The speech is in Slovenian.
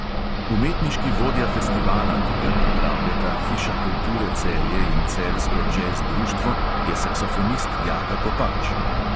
Umetniški vodja festivala, ki ga pripravljata hiša kulture celje in celjsko džez društvo, je saksofonist jaka kopač.